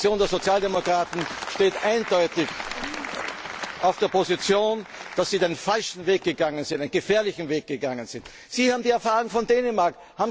Die Fraktion der Sozialdemokraten steht eindeutig auf der Position, dass Sie den falschen Weg gegangen sind, dass Sie einen gefährlichen Weg gegangen sind. Sie haben die Erfahrung von Dänemark.